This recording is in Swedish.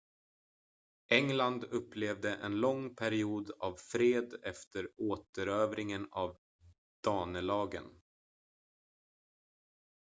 england upplevde en lång period av fred efter återerövringen av danelagen